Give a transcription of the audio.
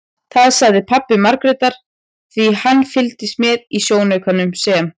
Það sagði pabbi Margrétar því hann fylgdist með í sjónaukanum sem